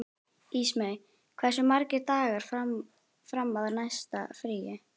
Ísmey, hversu margir dagar fram að næsta fríi?